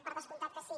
per descomptat que sí